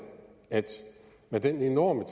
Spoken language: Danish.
at med den enorme